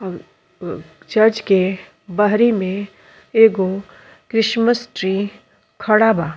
और उ चर्च के बहरी में एगो क्रिसमस ट्री खड़ा बा।